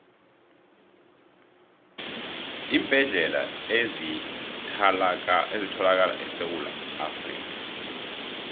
iimbedlela ezithalakala esewula afrikha